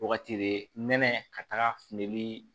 Wagati de nɛnɛ ka taga fini